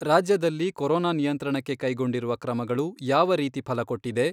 ರಾಜ್ಯದಲ್ಲಿ ಕೊರೊನಾ ನಿಯಂತ್ರಣಕ್ಕೆ ಕೈಗೊಂಡಿರುವ ಕ್ರಮಗಳು ಯಾವ ರೀತಿ ಫಲ ಕೊಟ್ಟಿದೆ.